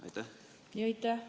Aitäh!